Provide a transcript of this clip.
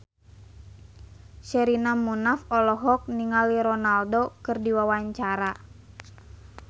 Sherina Munaf olohok ningali Ronaldo keur diwawancara